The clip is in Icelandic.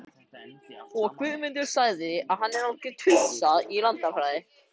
Benedikt svaraði fáu, en við skildum sæmilega.